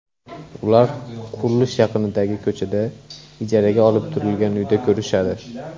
Ular qurilish yaqinidagi ko‘chada, ijaraga olib turilgan uyda ko‘rishadi.